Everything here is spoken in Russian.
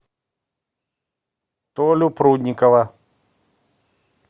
толю прудникова